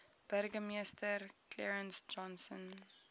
burgemeester clarence johnson